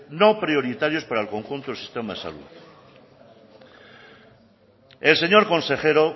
no prioritarios para el conjunto del sistema de salud el señor consejero